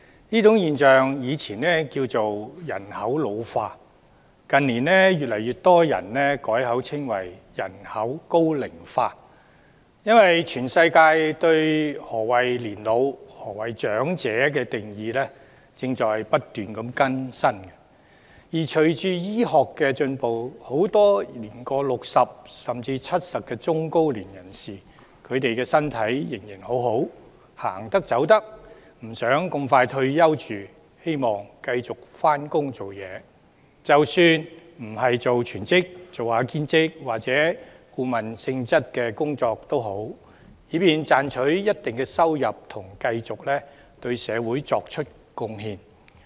這種現象從前稱為人口老化，但近年越來越多人改稱它為人口高齡化，因為全世界對年老及長者的定義不斷更新；而隨着醫學進步，很多年過60歲，甚至年過70歲的中高齡人士的身體仍然良好，行得走得，不想這麼早退休，希望繼續上班工作，即使不是全職工作，而是做兼職或顧問性質的工作也好，以便賺取一定收入，同時繼續對社會作出貢獻。